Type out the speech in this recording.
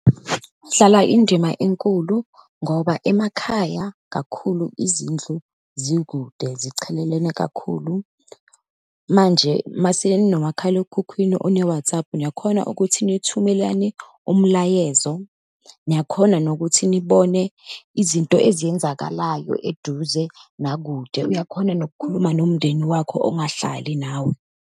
Kudlala indima enkulu, ngoba emakhaya kakhulu izindlu zikude, zichelelene kakhulu. Manje, uma seninomakhalekhukhwini one-WhatsApp, niyakhona ukuthi nithumelane umlayezo, niyakhona nokuthi nibone izinto eziyenzakalayo eduze naku kude, uyakhona nokukhuluma nomndeni wakho ongahlali nawe.